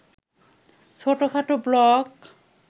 ছোটখাটো ব্লক